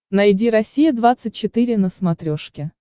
найди россия двадцать четыре на смотрешке